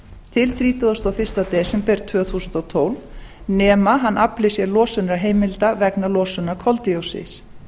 til þrítugasta og fyrsta desember tvö þúsund og tólf nema hann afli sér losunarheimilda vegna losunar koldíoxíðs